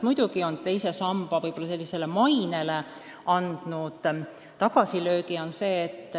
Muidugi on see teise samba mainele andnud tagasilöögi.